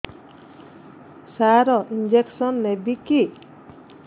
ସାର injection ନେବିକି